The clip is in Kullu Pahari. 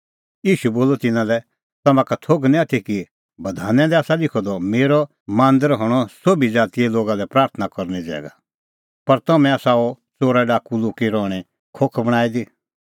ईशू बोलअ तिन्नां लै तम्हां का थोघ निं आथी कि बधाना दी आसा लिखअ द मेरअ मांदर हणअ सोभी ज़ातीए लोगा लै प्राथणां करने ज़ैगा पर तम्हैं आसा अह च़ोराडाकू लुक्की रहणें खोख बणांईं दी